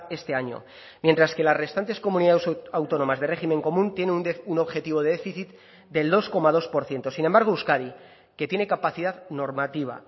este año mientras que las restantes comunidades autónomas de régimen común tiene un objetivo de déficit del dos coma dos por ciento sin embargo euskadi que tiene capacidad normativa